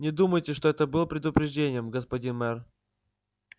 не думайте что это было предупреждением господин мэр